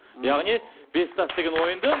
яғни бес тас деген ойынды